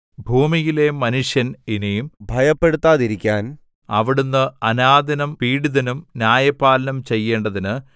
ഭൂമിയിലെ മനുഷ്യൻ ഇനി ഭയപ്പെടുത്താതിരിക്കുവാൻ അവിടുന്ന് അനാഥനും പീഡിതനും ന്യായപാലനം ചെയ്യേണ്ടതിന്